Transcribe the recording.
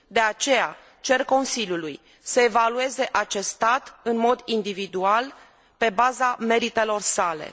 De aceea, cer Consiliului să evalueze acest stat în mod individual, pe baza meritelor sale.